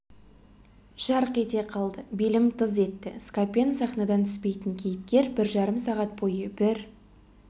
жарқ ете қалды белім тыз етті скапен сахнадан түспейтін кейіпкер бір жарым сағат бойы бір